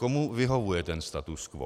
Komu vyhovuje ten status quo?